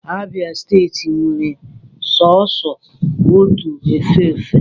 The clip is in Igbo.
Abia steeti nwere sọọsọ otu efe efe.